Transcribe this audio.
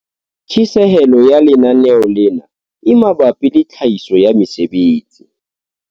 Tjhesehelo ya lenaneo lena e mabapi le tlhahiso ya mesebetsi